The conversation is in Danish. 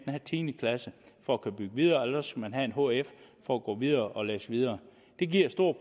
have tiende klasse for at kunne bygge videre eller også skal man have en hf for at gå videre og læse videre det giver store